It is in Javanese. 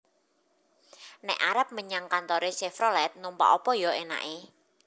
Nek arep menyang kantore Chevrolet numpak opo yo enake?